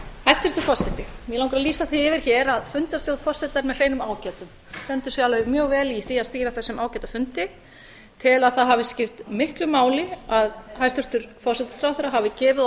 hæstvirtur forseti mig langar að lýsa því yfir hér að fundarstjórn forseta er með hreinum ágætum hann stendur sig mjög vel í því að stýra þessum ágæta fundi ég tel að það hafi skipt miklu máli að hæstvirtur forsætisráðherra hafi gefið